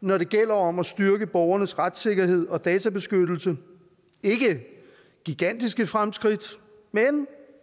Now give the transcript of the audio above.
når det gælder om at styrke borgernes retssikkerhed og databeskyttelse det er ikke gigantiske fremskridt men